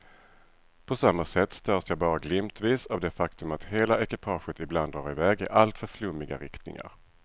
På samma sätt störs jag bara glimtvis av det faktum att hela ekipaget ibland drar i väg i alltför flummiga riktningar.